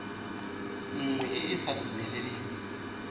nngwe e e sa dumeleleng